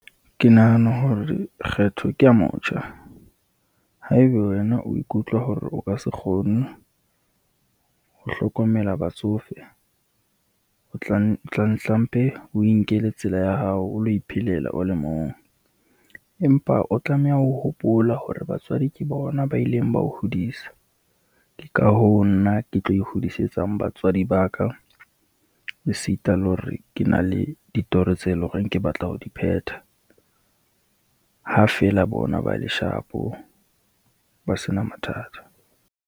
Ke nahana hore kgetho ke ya motjha, haeba wena o ikutlwa hore o ka se kgone ho hlokomela batsofe, o tla ntlempe o inkele tsela ya hao o lo iphelela o le mong. Empa o tlameha ho hopola hore batswadi ke bona ba ileng ba ho hodisa, ke ka hoo nna ke tlo e hodisetsa batswadi ba ka, e sita le hore ke na le ditoro tse leng hore ke batla ho di phetha, ha feela bona ba le shapo, ba sena mathata.